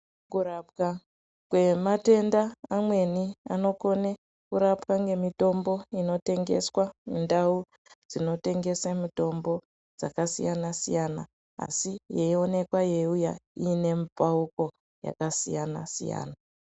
Kurapwa kwematenda amweni anokona kurapwa ngemutombo inotengesa mundau mitombo yakasiyana siyana asi yeionekwa yeiuya ine mupauko yakasiyana siyana.